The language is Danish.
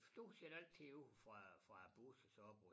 Stort set altid ude fra fra æ bus og så op mod